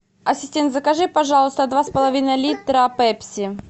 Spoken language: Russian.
ассистент закажи пожалуйста два с половиной литра пепси